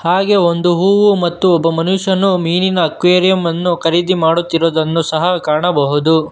ಹಾಗೆ ಒಂದು ಹೂವು ಮತ್ತು ಒಬ್ಬ ಮನುಷ್ಯನು ಮೀನಿನ ಅಕ್ವಾರಿಯಂ ಅನ್ನು ಖರೀದಿ ಮಾಡುತ್ತಿರುವುದನ್ನು ಸಹ ಕಾಣಬಹುದು.